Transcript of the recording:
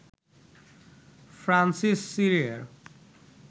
Francis সিরিয়ার